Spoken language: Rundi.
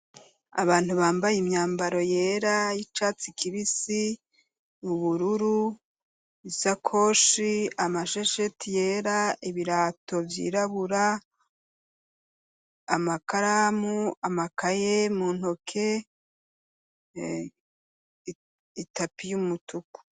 Abantu bambaye imyambaro yera yicatsi kibisi ubururu isakoshi amashesheti yera ibirato vyirabura amakaramu amakaye mu ntoke itapi yumutuku.